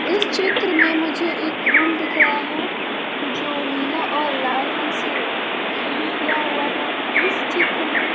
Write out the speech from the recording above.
इस चित्र में मुझे एक रूम दिख रहा है जो नीला और लाल रंग से पेंट किया हुआ है इस चित्र में--